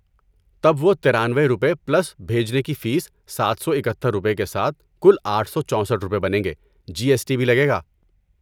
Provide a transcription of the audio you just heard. تب وہ ترانوۓ روپے پلس بھیجنے کی فیس سات سو اکہتر روپے کے ساتھ کل آٹھ سو چوسٹھ روپے بنیں گے، جی ایس ٹی بھی لگے گا